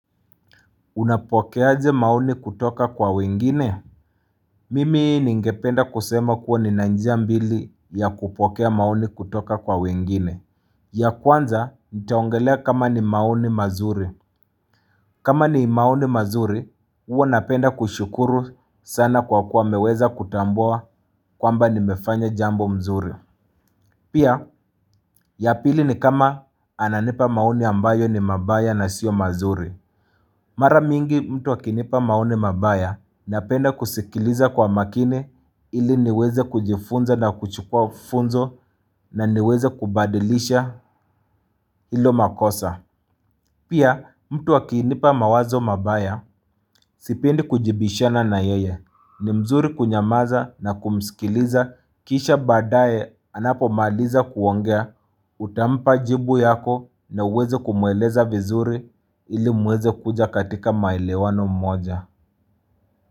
Unapoke aje maoni kutoka kwa wengine? Mimi ni ngependa kusema kuwa ni nanjia mbili ya kupokea maoni kutoka kwa wengine. Ya kwanza, nitaongelea kama ni maoni mazuri. Kama ni maoni mazuri, ua napenda kushukuru sana kwa kuwa wameweza kutambua kwa mba ni mefanya jambo mzuri. Pia, ya pili ni kama ananipa maoni ambayo ni mabaya na sio mazuri. Mara mingi mtu wakinipa maoni mabaya napenda kusikiliza kwa makini ili niweze kujifunza na kuchukua funzo na niweze kubadilisha ilo makosa. Pia mtu akinipa mawazo mabaya sipendi kujibishana na yeye ni mzuri kunyamaza na kumskiliza kisha badaye anapo maliza kuongea utampa jibu yako na uweze kumueleza vizuri ili muweze kuja katika maelewano mmoja.